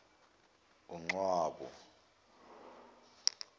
uncwabo